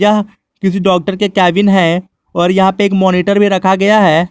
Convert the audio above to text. यह किसी डॉक्टर के केबिन है और यहां पे एक मॉनिटर भी रखा गया है।